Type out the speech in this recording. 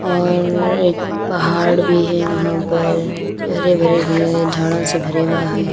और एक पहाड़ भी है वहाँ पर हरे भरे हुए हैं अ झाड़ों से भरा हुआ है।